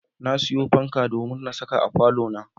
Na sayo fanka domin na saka a falona.